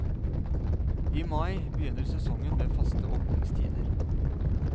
I mai begynner sesongen med faste åpningstider.